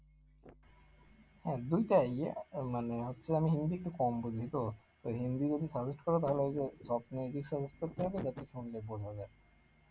আহ দুইটাই আহ মানে হচ্ছে আমি হিন্দি একটু কম বুঝি তো, তাই হিন্দি যদি suggest করো তাহলেঐযে top music suggest করতে হবে যাতে ছন্দে ভোলা যায়